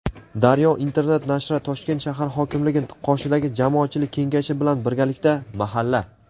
"Daryo" internet nashri Toshkent shahar hokimligi qoshidagi Jamoatchilik kengashi bilan birgalikda "Mahalla.